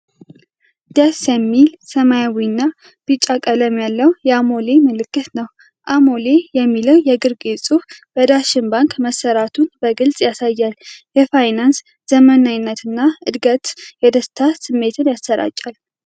ደስ የሚል ሰማያዊና ቢጫ ቀለም ያለው የአሞሌ ምልክት ነው። "አሞሌ" የሚለው የግርጌ ጽሑፍ በዳሸን ባንክ መሰራቱን በግልጽ ያሳያል። የፋይናንስ ዘመናዊነትና እድገት የደስታ ስሜትን ያጭራል።